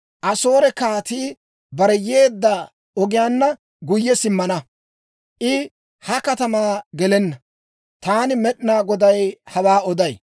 Asoore Kaatii bare yeedda ogiyaanna guyye simmana; I ha katamaa gelenna. Taani Med'inaa Goday hawaa oday.